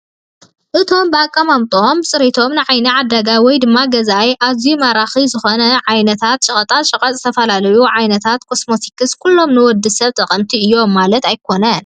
እቶም ብአቀማምጠኦምን ብፅሬቶምን ንዓይኒ ዓዳጋይ ወይ ድማ ገዛኣይ ኣዝዮም ማረክትን ዝኾኑ ዓይነታት ሸቀጣ ሸቀጥን ዝተፈላለዩ ዓይነታት ኮስሚቲክስን ኩሎም ንወዲ ሰብ ጠቀምቲ እዮም ማለትና ኣይኮነን፡፡